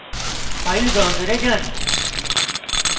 file browser যান